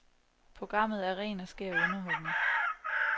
Programmet er ren og skær underholdning.